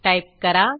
type करा